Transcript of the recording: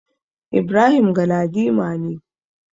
Ibrahim Galadima ne.